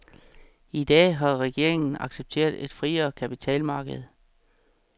I dag har regeringen accepteret et friere kapitalmarked.